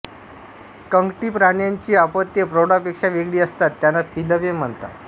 कंकटी प्राण्यांची अपत्ये प्रौढांपेक्षा वेगळी असतात त्यांना पिलवे म्हणतात